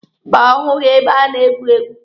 Mba, ọ hụghị ebe a na-egwu egwu.